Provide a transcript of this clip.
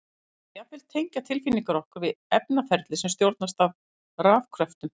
Það má jafnvel tengja tilfinningar okkar við efnaferli sem stjórnast af rafkröftum!